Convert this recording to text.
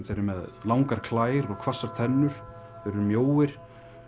þeir eru með langar klær og hvassar tennur þeir eru mjóir